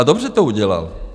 A dobře to udělal.